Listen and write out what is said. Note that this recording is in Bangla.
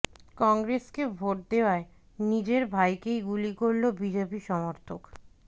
কংগ্রেসকে ভোট দেওয়ায় নিজের ভাইকেই গুলি করল বিজেপি সমর্থক